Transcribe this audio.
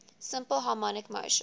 simple harmonic motion